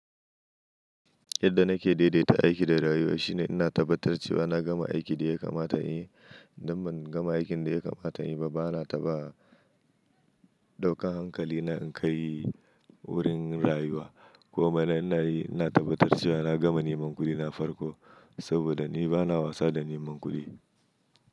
Yadda nake daidaita aiki da rayuwa shine ina tabbatar cewa na gama aikin da ya kamata inyi. Idan ban gama aikin da ya kamata inyi ba, bana taɓa ɗaukan hankali na inkai wurin rayuwa. Komai na ina yi ina tabbatar cewa na gama neman kuɗi na farko saboda ni bana wasa da neman kuɗi.